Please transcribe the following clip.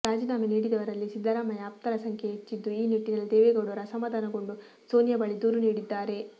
ರಾಜೀನಾಮೆ ನೀಡಿದವರಲ್ಲಿ ಸಿದ್ದರಾಮಯ್ಯ ಆಪ್ತರ ಸಂಖ್ಯೆಯೇ ಹೆಚ್ಚಿದ್ದು ಈ ನಿಟ್ಟಿನಲ್ಲಿ ದೇವೇಗೌಡರು ಅಸಮಾಧಾನಗೊಂಡು ಸೋನಿಯಾ ಬಳಿ ದೂರು ನೀಡಿದ್ದಾರೆ